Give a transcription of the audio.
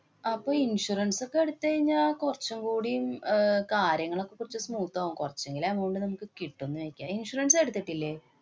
അപ്പോ insurance ഒക്കെ എടുത്തയിഞ്ഞാല്‍ കൊറച്ചും കൂടീം അഹ് കാര്യങ്ങള് ഒക്കെ കൊറച്ചു smooth ആകും. കൊറച്ചെങ്കിലും amount നമുക്ക് കിട്ടൂന്ന് എയ്ക്കാം. insurance എടുത്തിട്ടില്ലേ?